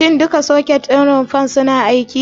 Shin duka soket ɗin rumfar suna aiki?